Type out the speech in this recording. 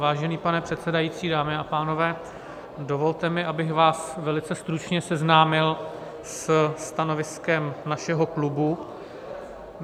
Vážený pane předsedající, dámy a pánové, dovolte mi, abych vás velice stručně seznámil se stanoviskem našeho klubu.